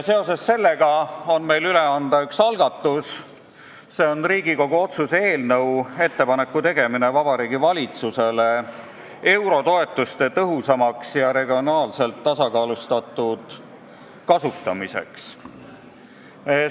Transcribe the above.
Seoses sellega on meil üle anda üks Riigikogu otsuse eelnõu, nimelt "Ettepaneku tegemine Vabariigi Valitsusele eurotoetuste tõhusamaks ja regionaalselt tasakaalustatud kasutamiseks".